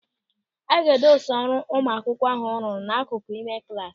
A ga-edosa ọrụ ụmụ akwụkwọ ahụ rụrụ n'akụkụ n'ime klasị.